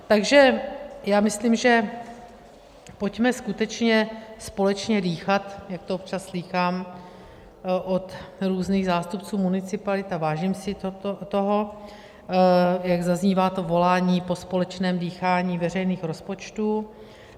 Takže já myslím, pojďme skutečně společně dýchat, jak to občas slýchám od různých zástupců municipalit, a vážím si toho, jak zaznívá to volání po společném dýchání veřejných rozpočtů.